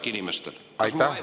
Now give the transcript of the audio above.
Kas mu väide on reaalne?